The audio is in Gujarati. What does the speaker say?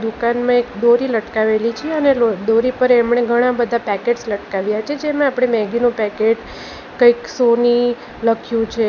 દુકાનમાં એક દોરી લટકાવેલી છે અને લો દોરી પર એમણે ઘણા બધા પેકેટ્સ લટકાવ્યા છે જેમાં આપણે મેગી નું પેકેટ કંઈક સોની લખ્યું છે.